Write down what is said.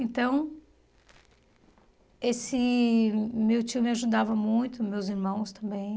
Então, esse... Meu tio me ajudava muito, meus irmãos também.